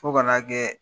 Fo ka n'a kɛ